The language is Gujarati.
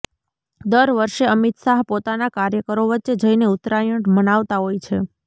દર વર્ષે અમિત શાહ પોતાના કાર્યકરો વચ્ચે જઈને ઉત્તરાયણ મનાવતા હોય છે